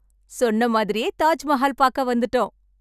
சொன்ன மாதிரியே தாஜ்மஹால் பாக்க வந்துட்டோம்.